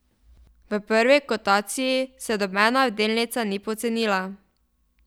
V prvi kotaciji se nobena delnica ni pocenila.